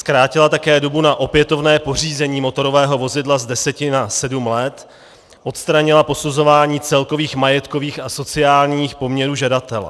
Zkrátila také dobu na opětovné pořízení motorového vozidla z deseti na sedm let, odstranila posuzování celkových majetkových a sociálních poměrů žadatele.